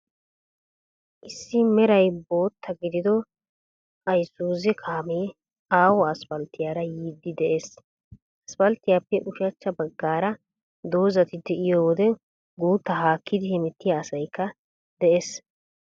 Issi meray bootta gidido iysuuze kaamee aaho asppalttiyaara yiiddi de'ees. Asppalttiyaappe ushachcha baggaara dozati de'iyo wode guuttaa haakkidi hemettiya asaykka de'ees.